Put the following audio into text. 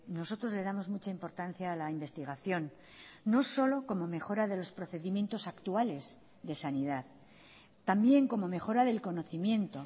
nosotros le damos mucha importancia a la investigación no solo como mejora de los procedimientos actuales de sanidad también como mejora del conocimiento